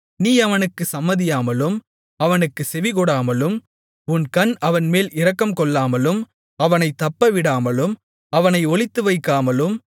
நீ அவனுக்குச் சம்மதியாமலும் அவனுக்குச் செவிகொடாமலும் உன் கண் அவன்மேல் இரக்கம்கொள்ளாமலும் அவனைத் தப்பவிடாமலும் அவனை ஒளித்துவைக்காமலும்